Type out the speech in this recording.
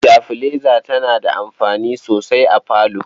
Sitabilaiza tana da amfani sosai a falo.